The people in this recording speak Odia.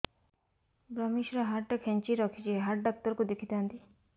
ଵ୍ରମଶିର ହାଡ଼ ଟା ଖାନ୍ଚି ରଖିଛି ହାଡ଼ ଡାକ୍ତର କୁ ଦେଖିଥାନ୍ତି